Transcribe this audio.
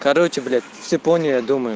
короче блять все поняли я думаю